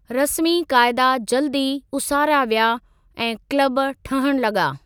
रस्मी क़ाइदा जल्द ई उसारिया विया, ऐं क़्लब ठहणु लगा॒।